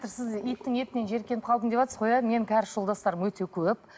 сіз иттің етін жиіркеніп қалдым деватсыз ғой иә менің кәріс жолдастарым өте көп